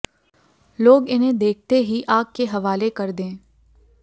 लोग इन्हें देखते ही आग के हवाले कर दें